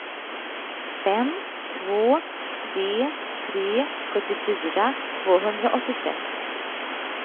fem två tre tre sjuttiofyra tvåhundraåttiosex